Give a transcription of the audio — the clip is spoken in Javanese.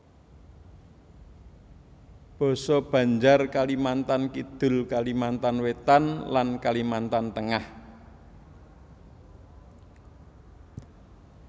Basa Banjar Kalimantan Kidul Kalimantan Wétan lan Kalimantan Tengah